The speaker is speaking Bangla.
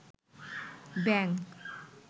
ব্যাংক